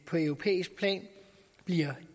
på europæisk plan bliver